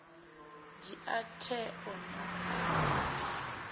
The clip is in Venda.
dzhia tsheo a na nḓivho